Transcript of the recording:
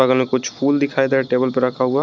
इनमें कुछ फूल दिखाई दे रहा है टेबल पे रखा हुआ।